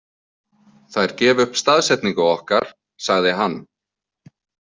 Þær gefa upp staðsetningu okkar, sagði hann.